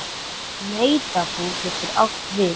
Nautabú getur átt við